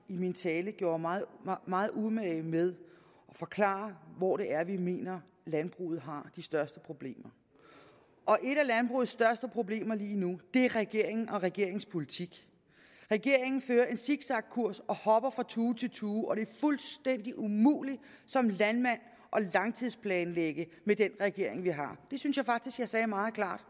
i min tale gjorde mig meget umage med at forklare hvor det er vi mener landbruget har de største problemer et af landbrugets største problemer lige nu er regeringen og regeringens politik regeringen fører en zigzagkurs og hopper fra tue til tue og det er fuldstændig umuligt som landmand at langtidsplanlægge med den regering vi har det synes jeg faktisk jeg sagde meget klart